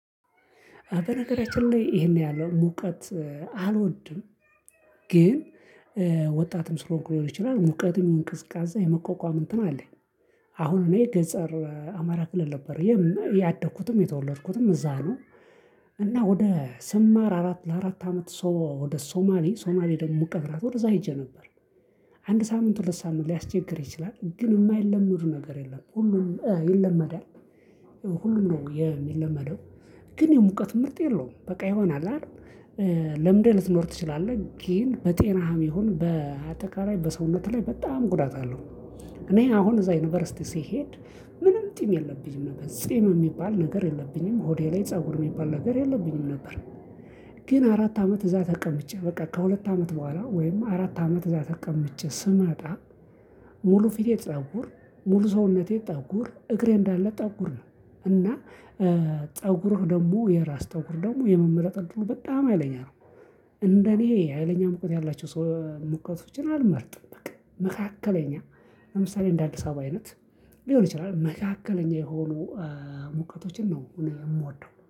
በነገራችን ላይ ይሄን ያህል ሙቀት አልወድም ግን ወጣትም ስለሆንኩ ሊሆን ይችላል ሙቀትም ቅዝቃዜ የመቋቋም እንትን አለኝ። አሁን እኔ ገጸር አማራ ክልል ነበር የ ያደኩትም የተወለድኩትም እዛ ነው። እና ወደ ስማር አራት ለአራት አመት ሰው ወደ ሶማሌ ሶማሌ ደግሞ ሙቀት ናት ወደዛ ሄጄ ነበር። አንድ ሳምንት ሁለት ሳምንት ሊያስቸግር ይችላል ግን የማይለምድ ነገር የለም ሁሉም ይለመዳል። ሁሉም ነው የሚለመደው። ግን የሙቀት ምርጥ የለውም በቃ የሆነ አለ አደል። ለምደህ ልትኖር ትችላለህ ግን በጤናህም ይሁን በአጠቃላይ በሰውነት ላይ በጣም ጉዳት አለው። እኔ አሁን እዛ ዩኒቨርሲቲ ስሄድ ምንም ጢም የለብኝም ነበር ጺም የሚባል ነገር የለብኝም ሆዴ ላይ ፀጉር የሚባል ነገር የለብኝም ነበር። ግን አራት አመት እዛ ተቀምጬ በቃ ከሁለት አመት በኋላ ወይም አራት አመት እዛ ተቀምጬ ስመጣ። ሙሉ ፊቴ ፀጉር ሙሉ ሰውነቴ ጠጉር እግሬ እንዳለ ጠጉር ነው። እና ጸጉርህ ደግሞ የራስ ጠጉር ደግሞ የመመለጥ እድሉ ደግሞ በጣም አይለኛ ነው። እንደኔ አይለኛ ሙቀት ያላቸው ሰው ሙቀቶችን አልመርጥም በቃ መካከለኛ ለምሳሌ እንደ አዲስ አበባ አይነት። ሊሆን ይችላል መካከለኛ የሆኑ ሙቀቶችን ነው እኔ የምወደው